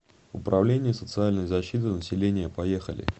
управление социальной защиты населения поехали